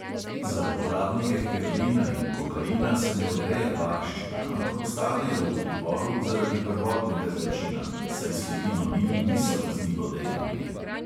Za uporabnike heroina in kokaina se ne odreja varščina, ampak ostanejo v priporu zaradi prvotnega zločina, saj sledi mamil niso kaznivo dejanje.